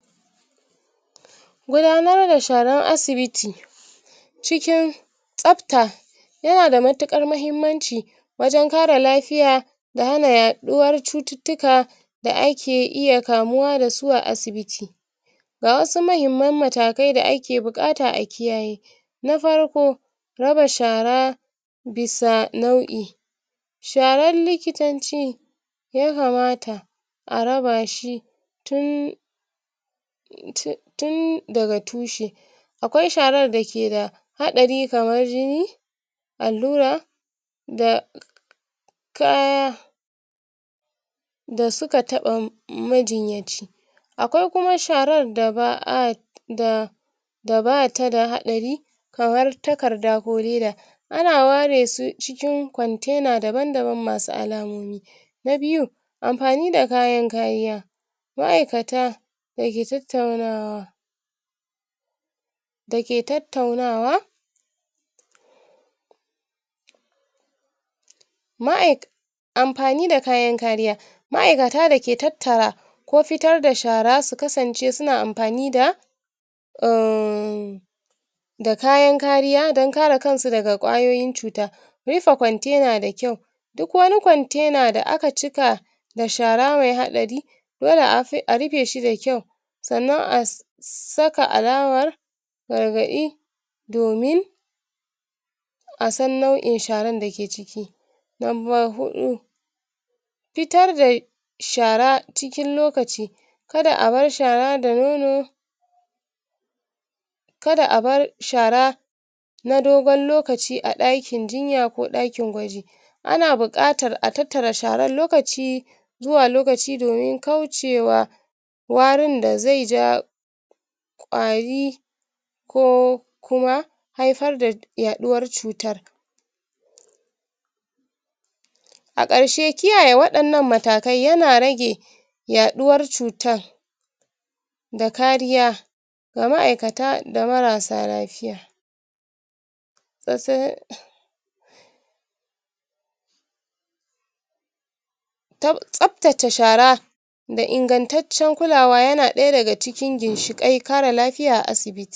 gudanar da sharan asibiti cikin tsabta yanada mutukan mahimmanci wajen kare lafiya da hana yaɗuwan cututtuka da ake iya kamuwa dasu a asibiti ga wasu mahimman matakai da ake bukata akiyaye farko raba shara bisa nau'in sharan likitanci ya kamata araba shi tun tun daga tushe akwai sharar dake da haɗari kamar jini allura da kaya da suka taba majinyaci akwaikuma shrar da ba'a da da bata da haɗari kamar takarda ko leda ana ware su cikin container masu alamomi na biyu anfani da kayan kariya ma'ikata dake tattaunawa dake tattaunawa ma'ai anfani da kayan kariya ma'ikata dake tattara ko fitar da shara su kasance suna anfani da um da kayan kariya don kare kanka daga kwayoyin cuta bisa container da kyau duk wai container da akacika da shara me haɗari dole a rufeshi da kyau sanan as saka arawar gargaɗi domin asan nau'in sharan dake ciki lamba huɗu fitar da shara cikin lokaci kad abar shara da nono kada abar shara na dogon lokaci a ɗakin jinya koɗakin gwaji ana bukatar a tattara sharar lokaci zuwa lokaci domin kaucewa warin da zeja gwari ko kuma haifar yaɗuwar cutan akarshe kiyaye wadan an matakai yana rage yaɗuwar cutar da kariya ga ma'ikata da marasa lafiya tab tsabtace shara da ingantaccen kulawa yana ɗaya daga cikin ginshikai kare lafiya a asibiti